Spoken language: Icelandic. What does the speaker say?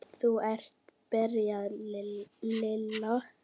Þú ert. byrjaði Lilla.